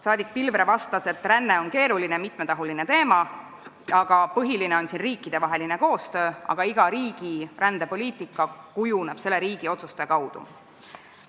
Saadik Pilvre vastas, et ränne on keeruline, mitmetahuline teema ja põhiline on riikidevaheline koostöö, aga iga riigi rändepoliitika kujuneb selle riigi otsuste kaudu.